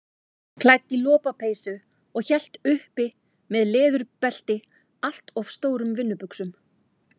Klædd í lopapeysu og hélt uppi með leðurbelti allt of stórum vinnubuxum.